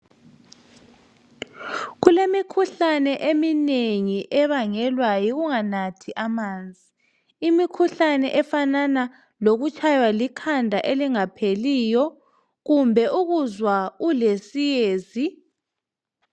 Kulemikhuhlane eminengi ebangelwa yikunganathi amanzi ,imikhuhlane efanana lokutshaywa likhanda elingapheliyo kumbe ukuzwa ulesiyezi.